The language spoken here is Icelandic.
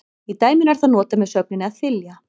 Í dæminu er það notað með sögninni að þylja.